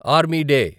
army day